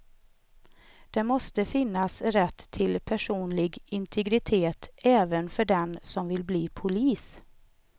Det måste finnas rätt till personlig integritet även för den som vill bli polis.